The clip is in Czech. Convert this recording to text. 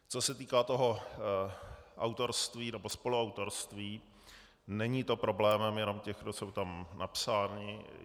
Co se týká toho autorství nebo spoluautorství, není to problémem jenom těch, kdo jsou tam napsáni.